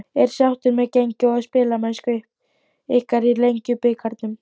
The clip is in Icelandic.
Ertu sáttur með gengi og spilamennsku ykkar í Lengjubikarnum?